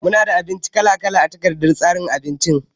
Muna da abinci kala kala a takardar tsarin abincin